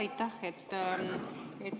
Aitäh!